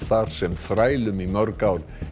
sem þrælum í mörg ár